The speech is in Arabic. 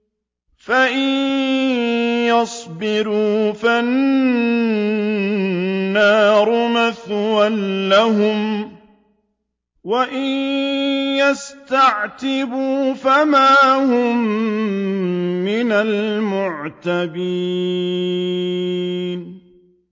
فَإِن يَصْبِرُوا فَالنَّارُ مَثْوًى لَّهُمْ ۖ وَإِن يَسْتَعْتِبُوا فَمَا هُم مِّنَ الْمُعْتَبِينَ